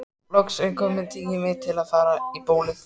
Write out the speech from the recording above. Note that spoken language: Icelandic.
Loks er kominn tími til að fara í bólið.